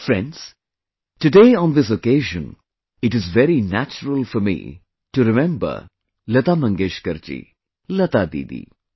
Friends, today on this occasion it is very natural for me to remember Lata Mangeshkar ji, Lata Didi